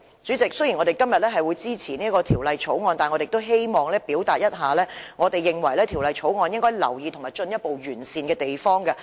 主席，雖然公民黨今天會支持《條例草案》，但我也希望指出我們認為《條例草案》中應予留意和進一步完善的地方。